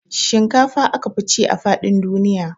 Shinkafa aka fi ci a faɗin duniya